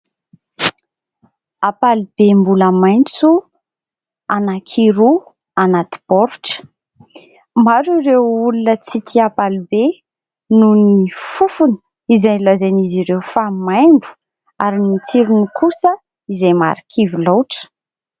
Ampalibe mbola maitso anankiroa anaty baoritra; maro ireo olona tsy tia ampalibe nohon'ny fofony izay lazain'izy ireo fa maimbo ary ny tsirony kosa izay marikivy loatra.